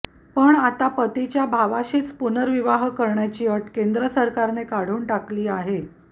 पण आता पतीच्या भावाशीच पुनर्विवाह करण्याची अट केंद्राने काढून टाकली आहे